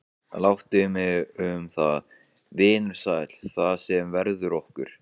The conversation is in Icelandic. Láttu mig um það, vinur sæll, það sem verður okkur